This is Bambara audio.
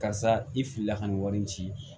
Karisa i filila ka na nin wari in ci